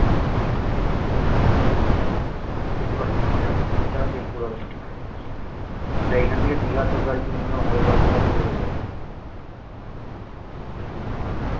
যেতে পারিস মজা আসবে বেশি টাকা তেল পুরাবে না এখান থেকে দিঘা তোর গাড়িতে minimum হাজার বারোশো টাকা তেলে হয়ে যাবে বুঝলি